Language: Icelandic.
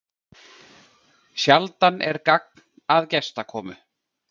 Sjaldan er gagn að gestakomu.